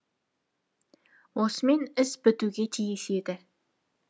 осымен іс бітуге тиіс еді